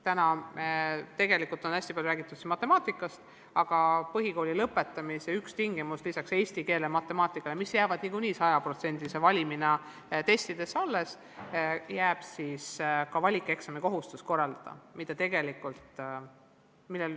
Täna on siin tegelikult hästi palju räägitud matemaatikast, aga põhikooli lõpetamise üks tingimus lisaks eesti keelele ja matemaatikale, mis jäävad niikuinii 100%-lise valimina tehtavate testide hulka alles, on ka kohustus teha valikeksam.